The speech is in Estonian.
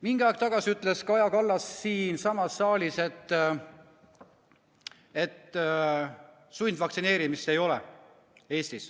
Mingi aeg tagasi ütles Kaja Kallas siinsamas saalis, et sundvaktsineerimist Eestis ei ole.